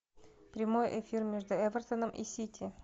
прямой эфир между эвертоном и сити